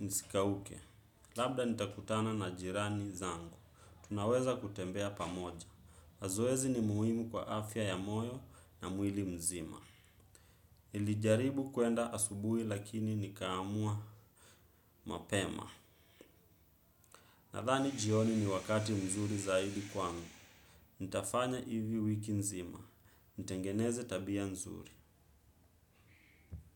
nisikauke. Labda nitakutana na jirani zangu. Tunaweza kutembea pamoja. Zoezi ni muhimu kwa afya ya moyo na mwili mzima. Nillijaribu kwenda asubuhi lakini nikaamua mapema. Nadhani jioni ni wakati mzuri zaidi kwangu. Nitafanya hivi wiki nzima. Nitengeneze tabia mzuri.